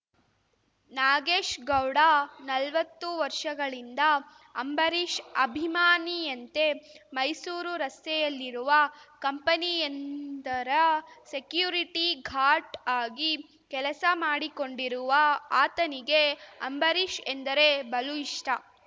ನಾಗೇಶ್‌ಗೌಡ ನಲ್ವತ್ತು ವರ್ಷಗಳಿಂದ ಅಂಬರೀಷ್‌ ಅಭಿಮಾನಿಯಂತೆ ಮೈಸೂರು ರಸ್ತೆಯಲ್ಲಿರುವ ಕಂಪನಿಯೊಂದರ ಸೆಕ್ಯೂರಿಟಿ ಗಾರ್ಡ್‌ ಆಗಿ ಕೆಲಸ ಮಾಡಿಕೊಂಡಿರುವ ಆತನಿಗೆ ಅಂಬರೀಷ್‌ ಎಂದರೆ ಬಲು ಇಷ್ಟ